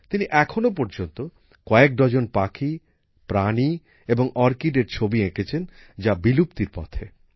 তিনি এখনো পর্যন্ত কয়েক ডজন পাখি প্রাণী এবং অর্কিডের ছবি এঁকেছেন যা বিলুপ্তির পথে